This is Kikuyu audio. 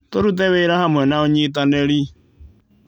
Tũrute wĩra hamwe na ũynitanĩri.